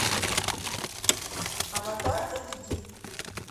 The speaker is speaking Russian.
аватар эйч ди